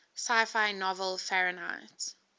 sci fi novel fahrenheit